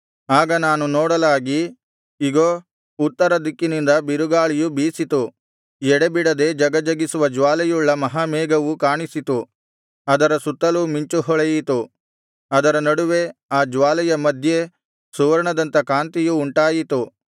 ಆಗ ನಾನು ನೋಡಲಾಗಿ ಇಗೋ ಉತ್ತರ ದಿಕ್ಕಿನಿಂದ ಬಿರುಗಾಳಿಯು ಬೀಸಿತು ಎಡೆಬಿಡದೆ ಝಗಝಗಿಸುವ ಜ್ವಾಲೆಯುಳ್ಳ ಮಹಾಮೇಘವು ಕಾಣಿಸಿತು ಅದರ ಸುತ್ತಲೂ ಮಿಂಚು ಹೊಳೆಯಿತು ಅದರ ನಡುವೆ ಆ ಜ್ವಾಲೆಯ ಮಧ್ಯೆ ಸುವರ್ಣದಂಥ ಕಾಂತಿಯು ಉಂಟಾಯಿತು